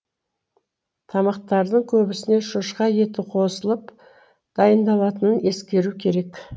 тамақтардың көбісіне шошқа еті қосылып дайындалатынын ескеру керек